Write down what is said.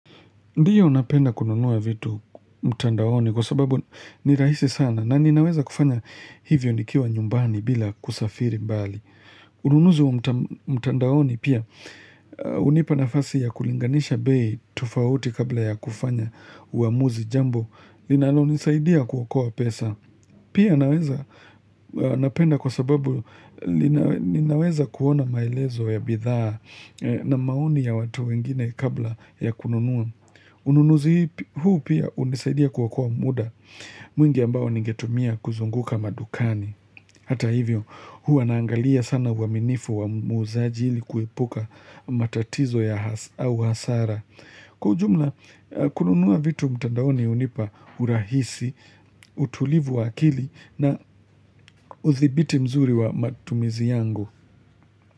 Ndiyo napenda kununua vitu mtandaoni kwa sababu ni rahisi sana na ninaweza kufanya hivyo nikiwa nyumbani bila kusafiri mbali. Ununuzi wa mtandaoni pia hunipa nafasi ya kulinganisha bei tofauti kabla ya kufanya uamuzi jambo linalonisaidia kuokoa pesa. Pia naweza napenda kwa sababu ninaweza kuona maelezo ya bidhaa na maoni ya watu wengine kabla ya kununua. Ununuzi huu pia hunisaidia kuokoa muda mwingi ambao ningetumia kuzunguka madukani. Hata hivyo huwa naangalia sana uaminifu wa muuzaji ili kuepuka matatizo ya hasara. Kwa ujumla, kununua vitu mtandaoni hunipa urahisi, utulivu wa akili na uthibiti mzuri wa matumizi yangu.